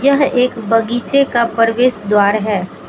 यह एक बगीचे का प्रवेश द्वार है।